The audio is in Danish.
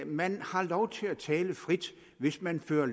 man har lov til at tale frit hvis man fører